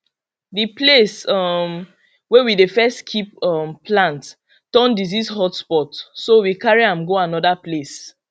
the place um way we dey first keep um plant turn disease hotspot so we carry am go another place